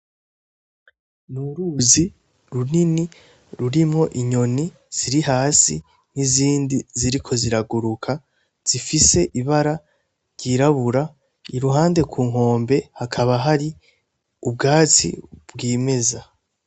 Ni uruzi runini rurimwo inyoni ziri hasi n'izindi ziriko ziraguruka zifise ibara ryirabura i ruhande ku nkombe hakaba hari ubwasi bw'imeza.